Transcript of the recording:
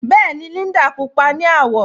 Bẹẹni, Líndà púpọ̀ ni awọ